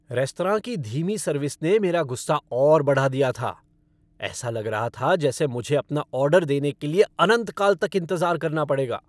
Restaurant की धीमी service ने मेरा गुस्सा और बढ़ा दिया था। ऐसा लग रहा था जैसे मुझे अपना ऑर्डर देने के लिए अनंत काल तक इंतजार करना पड़ेगा।